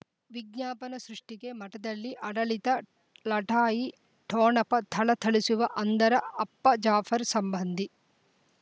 ವಿಜ್ಞಾಪನ ಸೃಷ್ಟಿಗೆ ಮಠದಲ್ಲಿ ಆಡಳಿತ ಲಟಾಯಿ ಠೊಣಪ ಥಳಥಳಿಸುವ ಅಂದರ ಅಪ್ಪ ಜಾಫರ್ ಸಂಬಂಧಿ